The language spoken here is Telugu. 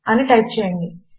అని టైప్ చేయండి